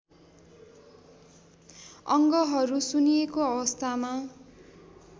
अङ्गहरू सुन्निएको अवस्थामा